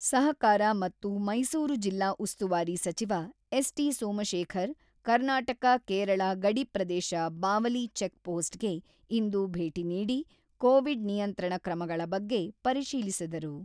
ಸಹಕಾರ ಮತ್ತು ಮೈಸೂರು ಜಿಲ್ಲಾ ಉಸ್ತುವಾರಿ ಸಚಿವ ಎಸ್.ಟಿ.ಸೋಮಶೇಖರ್ ಕರ್ನಾಟಕ-ಕೇರಳ ಗಡಿಪ್ರದೇಶ ಬಾವಲಿ ಚೆಕ್ ಪೋಸ್ಟ್‌ಗೆ ಇಂದು ಭೇಟಿ ನೀಡಿ ಕೋವಿಡ್ ನಿಯಂತ್ರಣ ಕ್ರಮಗಳ ಬಗ್ಗೆ ಪರಿಶೀಲಿಸಿದರು.